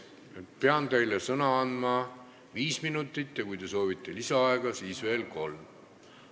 Ma pean teile sõnavõtuks andma aega viis minutit ja kui te soovite lisaaega, siis veel kolm minutit.